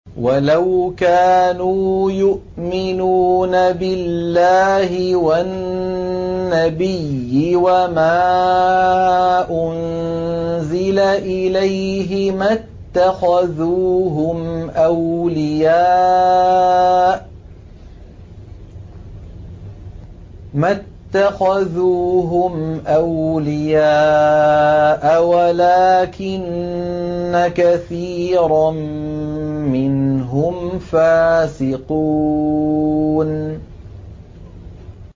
وَلَوْ كَانُوا يُؤْمِنُونَ بِاللَّهِ وَالنَّبِيِّ وَمَا أُنزِلَ إِلَيْهِ مَا اتَّخَذُوهُمْ أَوْلِيَاءَ وَلَٰكِنَّ كَثِيرًا مِّنْهُمْ فَاسِقُونَ